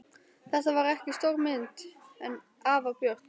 Þetta var ekki stór mynd en afar björt.